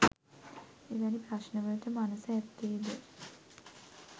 එවැනි ප්‍රශ්නවලට මනස ඇත්තේ ද